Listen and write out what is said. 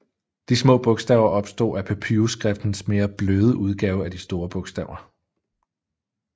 De små bogstaver opstod af papyrusskriftens mere bløde udgave af de store bogstaver